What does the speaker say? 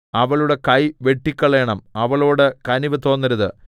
അവളുടെ കൈ വെട്ടിക്കളയണം അവളോട് കനിവ് തോന്നരുത്